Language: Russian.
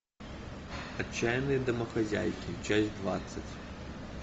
отчаянные домохозяйки часть двадцать